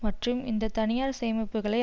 மற்றும் இந்த தனியார் சேமிப்புக்களை